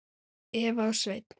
Eva og Sveinn.